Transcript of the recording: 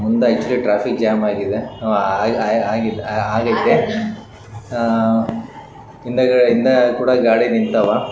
ಮುಂದ ಯ್ಯಾಛ್ವಲಿ traffic jam ಆಗಿದೆ ಆಆಆ ಹಿಂದ ಹಿಂದಕುಡ ಗಾಡಿ ನಿಂತಾವ